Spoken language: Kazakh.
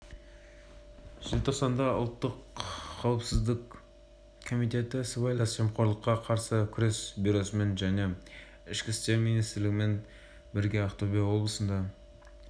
желтоқсанда ұлттық қауіпсіздік комитеті сыбайлас жемқорлыққа қарсы күрес бюросымен және ішкі істер министрлігімен бірге ақтөбе облысында